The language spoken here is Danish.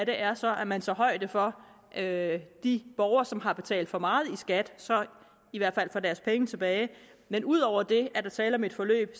er så at man tager højde for at de borgere som har betalt for meget i skat i hvert fald får deres penge tilbage men ud over det er der tale om et forløb